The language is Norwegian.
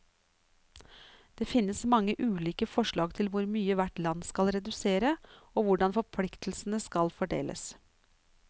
Det finnes mange ulike forslag til hvor mye hvert land skal redusere, og hvordan forpliktelsene skal fordeles.